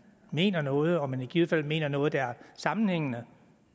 mener noget og man i givet fald mener noget der er sammenhængende